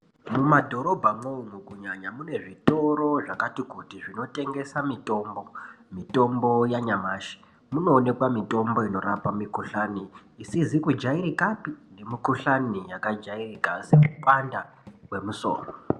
Muma dhorobha mwo umu kunyanya mune zvitoro zvakati kuti zvino tengesa mitombo mitombo yanyamashi munoonekwa mitombo inorapa mikohlani isizi kujairikapi nemu kohlani yakajairika semupanda wemusoro.